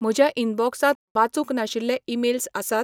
म्हज्या इनबॉक्सांत वाचूंक नाशिल्लें ईमेल्स आसात?